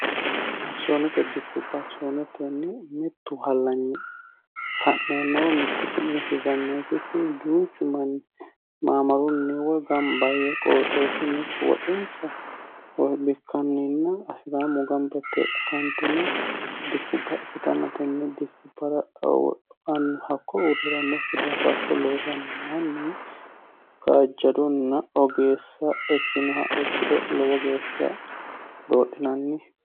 akisoonete dikkubba akisoonetenni mittu hallanyi fa'neenna woyi mittu su'minni hirranneeikkinni duuchu manni maamarunni woyi gamba yee qooxeessunnekko woxinsa bikkanninna afi'ramu gamba yite fantine dikkubba ikkitanna tenne dikkubbano hakko uurri'rannokki daafira loosanno manni kajjadonna ogeessa ikkinoha ikkiro lowo geeshsha doodhinanni